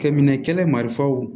Kɛ minɛ kɛlɛ marifaw